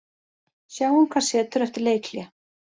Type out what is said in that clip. Sjáum hvað setur eftir leikhlé.